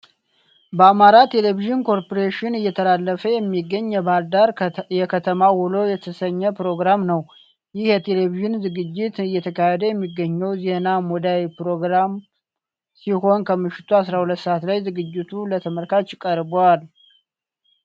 በአማራ ቴሌቭዥን ኮርፖሬሽን እየተተላለፈ የሚገኝ የባህር ዳር የከተማ ውሎ የተሰኘ ፕሮግራም ነው። ይህ የቴሌቪዥን ዝግጅት እየተካሄደ የሚገኘው ዜና ሙዳይ ፕሮግራም ሲሆን ከምሽቱ 12 ሰዓት ላይ ዝግጅቱ ለተመልካች ቀርባል።